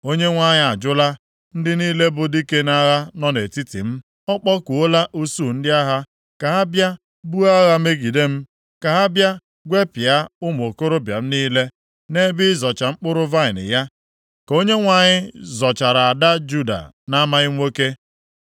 “Onyenwe anyị ajụla ndị niile bụ dike nʼagha nọ nʼetiti m. Ọ kpọkuola usuu ndị agha ka ha bịa buo agha megide m, ka ha bịa gwepịa ụmụ okorobịa m niile. Nʼebe ịzọcha mkpụrụ vaịnị ya ka Onyenwe anyị zọchara ada Juda na-amaghị nwoke.